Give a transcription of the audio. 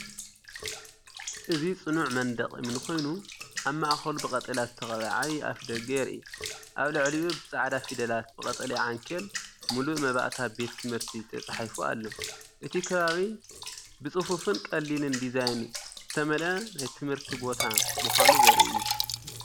እዚ ጽኑዕ መንደቕ እምኒ ኮይኑ ኣብ ማእከሉ ብቀጠልያ ዝተቐብአ ዓቢ ኣፍደገ የርኢ። ኣብ ልዕሊኡ ብጻዕዳ ፊደላት ብቀጠልያ ዓንኬል“ ሙሉእ መባእታ ቤት ትምህርቲ” ተጻሒፉ ኣሎ። እቲ ከባቢ ብጽፉፍን ቀሊልን ዲዛይን ዝተመልአ ናይ ትምህርቲ ቦታ ምዃኑ ዘርኢ እዩ።